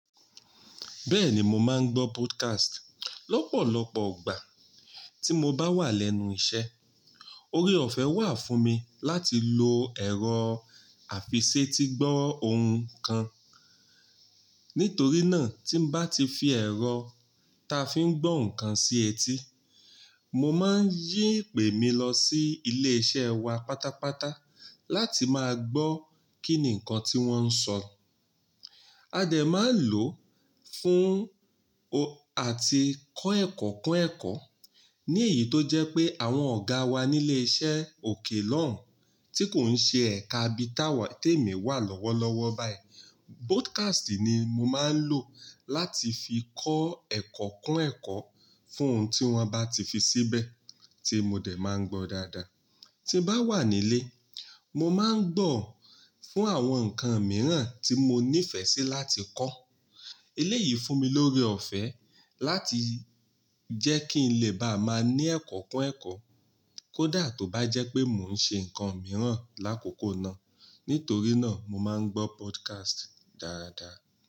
Bẹ́ẹ̀ni, mo máa ń gbọ́ podcast lọ́pọ̀lọpọ̀o gbà tí mo bá wà lẹ́nu iṣẹ́. Oorie ọ̀fẹ́ wà fún mi láti lo ẹ̀rọ àfiṣetí gbọ́ ohùn kan. Nítorí náà, tí n bá ti fi ẹ̀rọ ta fi ń gbọ́ ǹkan sí etí, mo máa ń yí ìpè mi lọ sí ilé iṣẹ́ wa pátápátá láti máa gbọ́ kín ní ǹkan tí wọ́n ń sọ. A dẹ̀ máa lò ó fún o àti kọ́ ẹ̀kọ́ kún ẹ̀kọ́. Ní èyí tó jẹ́ pé àwọn ọ̀gáa wa nílé iṣẹ́ òkè lọ́hùn tí kò ń ṣe ẹ̀ka bí táwà tí èmi wà lọ́wọ́lọ́wọ́ báyìí. Podcast ni mo máa ń lò láti fi kọ́ ẹ̀kọ́ kún ẹ̀kọ́ fún ohun tí wọ́n bá ti fi síbẹ̀ tí mo dẹ̀ máa ń gbọ́ dáadáa. Tí n bá wà nílé, mo máa ń gbọ̀ fún àwọn nǹkan mìíràn tí mo ní ìfẹ́ sí láti kọ́. Eléyìí fún mi lóore ọ̀fẹ́ láti jẹ́ kí n lè bá máa ní ẹ̀kọ́ kún ẹ̀kọ́ kó dà tó bá jẹ́ pé mò ń ṣe nǹkan mìíràn lákòókò náà. Nítorí náà, mo máa ń gbọ́ podcast dáadáa.